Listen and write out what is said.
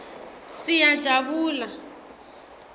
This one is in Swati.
siyajabula